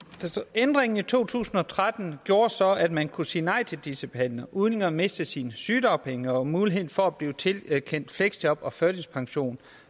ændringen i to tusind og tretten gjorde så at man kunne sige nej til disse behandlinger uden at miste sine sygedagpenge og muligheden for at blive tilkendt fleksjob og førtidspension